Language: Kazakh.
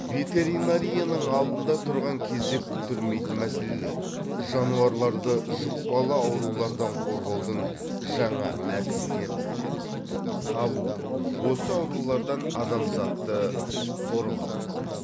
ветеринарияның алдыңда тұрған кезек күттірмейтін мәселелер жануарларды жұқпалы аурулардан қорғаудың жаңа әдістерін табу осы аурулардан адамзатты қорғау